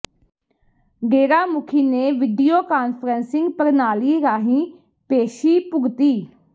ਡੇਰਾ ਮੁਖੀ ਨੇ video conferencing ਪ੍ਰਣਾਲੀ ਰਾਹੀਂ ਪੇਸ਼ੀ ਭੁਗਤੀ